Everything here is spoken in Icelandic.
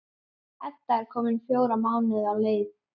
Edda er komin fjóra mánuði á leið.